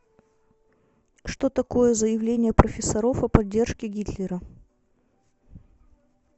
что такое заявление профессоров о поддержке гитлера